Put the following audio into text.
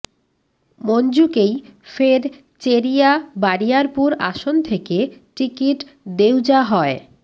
মঞ্জুকেই ফের চেরিয়া বারিয়ারপুর আসন থেকে টিকিট দেওযা হয়